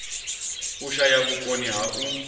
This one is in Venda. u shaya vhukoni ha u